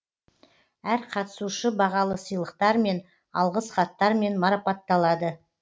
әр қатысушы бағалы сыйлықтармен алғыс хаттармен марапатталады